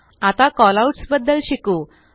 आता कॉलआउट्स बद्दल शिकू